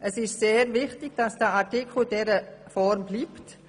Es ist sehr wichtig, dass der Absatz 2 in dieser Form bestehen bleibt.